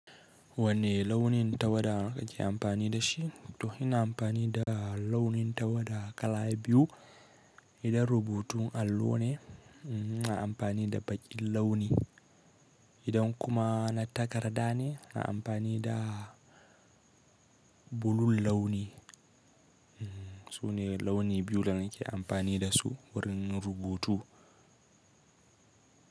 Wanne launin tawada kake amfani da shi? To ina amfani da launin tawada kala biyu. Idan rubutun allon ne na amfani da baƙin launi, idan kuma na takarda ne na amfani da bulul launi. Su ne launi biyu da nake amfani da su wurin rubutu.